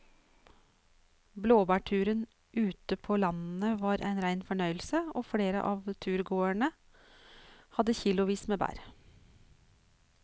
Blåbærturen ute på landet var en rein fornøyelse og flere av turgåerene hadde kilosvis med bær.